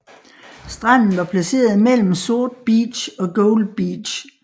Stranden var placeret imellem Sword Beach og Gold Beach